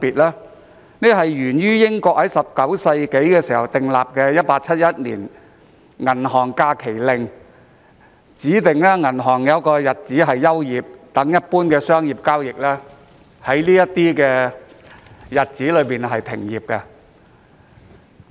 因為英國在19世紀訂立《1871年銀行假期法令》，指定銀行在某些日子休業，一般商業交易在這些日子暫停進行。